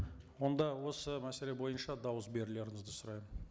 онда осы мәселе бойынша дауыс берулеріңізді сұраймын